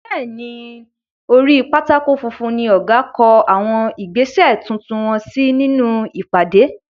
Bẹ́ẹ̀ ni, orí pátákó funfun ní ọ̀gá kó àwọn ìgbésè tuntun wọ́n sí nínú ìpàdé.